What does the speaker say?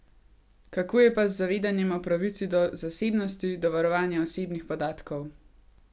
Kako je pa z zavedanjem o pravici do zasebnosti, do varovanja osebnih podatkov?